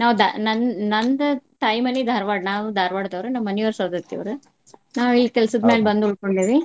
ನಾವ್ ದಾ~ ನನ್~ ನಂದ್ ತಾಯಿ ಮನಿ ಧಾರವಾಡ್ ನಾವು ಧಾರವಾಡ್ ದವ್ರ ನಮ್ ಮನಿಯವ್ರ ಸೌದತ್ತಿಯವರ್ ನಾವ್ ಇಲ್ಲಿ ಕೆಲ್ಸದ್ ಮೇಲ ಬಂದ್ ಉಳ್ಕೊಂಡೆವಿ.